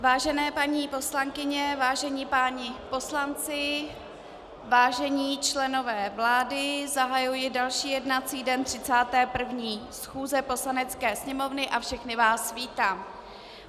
Vážené paní poslankyně, vážení páni poslanci, vážení členové vlády, zahajuji další jednací den 31. schůze Poslanecké sněmovny a všechny vás vítám.